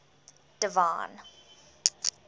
divine